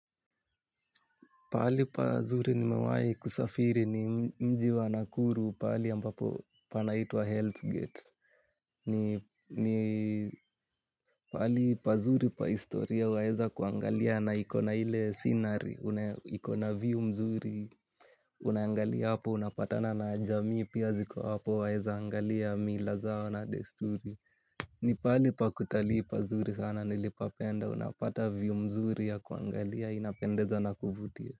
Pahali pazuri nimewai kusafiri ni mji wa nakuru pahali ambapo pana itwa Hell's Gate. Ni pahali pa zuri pa historia wa weza kuangalia na ikona ile scenary. Una ikona view mzuri, unaangalia hapo, unapatana na jamii pia ziko hapo wa weza angalia mila zao na desturi. Ni pahali pa kutalii pa zuri sana nilipapenda, unapata view mzuri ya kuangalia inapendeza na kuvutia.